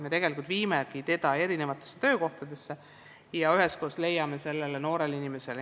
Me viime noort inimest erinevatesse töökohtadesse ja üheskoos leiame talle sobiva töö.